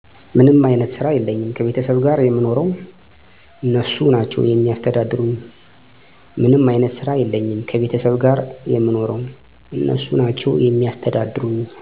ምንም አይነት ስራ የለኝም ከቤተሰብ ጋር የምኖረው እነሱ ናቸው የሚያስተዳድሩኝ